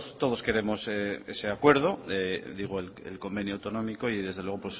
todos queremos ese acuerdo digo el convenio económico y desde luego